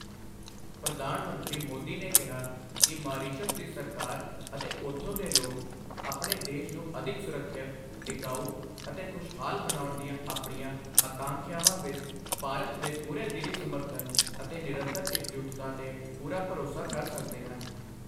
ਪ੍ਰਧਾਨ ਮੰਤਰੀ ਮੋਦੀ ਨੇ ਕਿਹਾ ਕਿ ਮਾਰੀਸ਼ਸ ਦੀ ਸਰਕਾਰ ਅਤੇ ਉਥੋਂ ਦੇ ਲੋਕ ਆਪਣੇ ਦੇਸ਼ ਨੂੰ ਅਧਿਕ ਸੁਰੱਖਿਅਤ, ਟਿਕਾਊ ਅਤੇ ਖੁਸ਼ਹਾਲ ਬਣਾਉਣ ਦੀਆਂ ਆਪਣੀਆਂ ਆਕਾਂਖਿਆਵਾਂ ਵਿੱਚ ਭਾਰਤ ਦੇ ਪੂਰੇ ਦਿਲੀ ਸਮਰਥਨ ਅਤੇ ਨਿਰੰਤਰ ਇਕਜੁੱਟਤਾ ਤੇ ਪੂਰਾ ਭਰੋਸਾ ਕਰ ਸਕਦੇ ਹਨ।